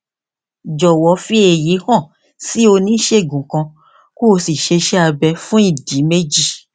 jọwọ fi èyí hàn sí oníṣègùn kan kó o sì ṣe iṣé abẹ fún ìdí méjì